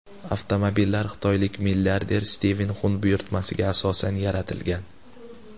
Avtomobillar xitoylik milliarder Stiven Xun buyurtmasiga asosan yaratilgan.